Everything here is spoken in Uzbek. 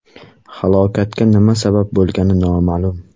Halokatga nima sabab bo‘lgani noma’lum.